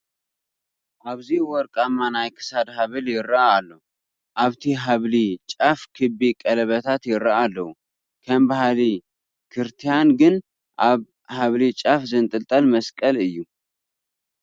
ኣብዚ ወርቃማ ናይ ክሳድ ሃብሊ ይርአ ኣሎ፡፡ ኣብቲ ሃብሊ ጫፍ ክቢ ቀለበታት ይርአዩ ኣለዉ፡፡ ከም ባህሊ ክርቲያን ግን ኣብ ሃብሊ ጫፍ ዝንጥልጠል መስቀል እዩ፡፡